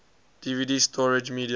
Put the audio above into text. dvd storage media